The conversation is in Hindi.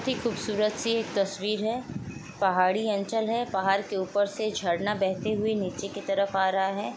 खूबसूरत सी एक तस्वीर है। पहाड़ी अँचल है। पहाड़ के ऊपर से झरना बहते हुए नीचे की तरफ आ रहा है।